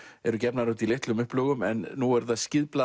eru gefnar út í litlum upplögum en nú eru það